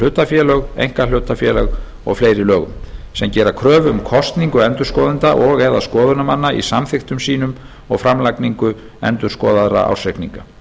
hlutafélög einkahlutafélög og fleiri lögum sem gera kröfu um kosningu endurskoðenda og eða skoðunarmanna í samþykktum sínum og framlagningu endurskoðaðra ársreikninga